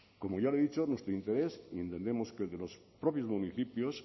como ya le he dicho nuestro interés y entendemos que el de los propios municipios